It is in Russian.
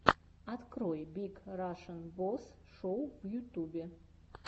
открой биг рашн босс шоу в ютубе